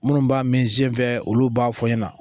Minnu b'a mɛn zen olu b'a fɔ n ɲɛna